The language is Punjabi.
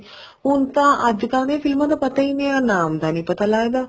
ਹੁਣ ਤਾਂ ਅੱਜਕਲ ਦੀਆਂ ਫ਼ਿਲਮਾ ਦਾ ਪਤਾ ਹੀ ਨਹੀਂ ਹੈ ਨਾ ਨਾਮ ਦਾ ਪਤਾ ਲੱਗਦਾ